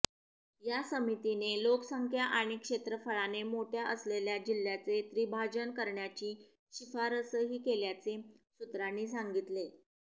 या समितीने लोकसंख्या आणि क्षेत्रफळाने मोठ्या असलेल्या जिल्ह्यांचे त्रिभाजन करण्याची शिफारसही केल्याचे सूत्रांनी सांगितले